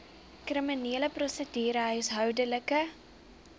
kriminele prosedure huishoudelike